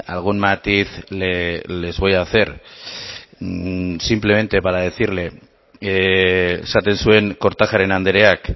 algún matiz les voy a hacer simplemente para decirle esaten zuen kortajarena andreak